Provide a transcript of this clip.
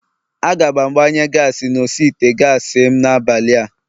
Aga m agbanye gaasi n'osi ite gaasi m n'abalịa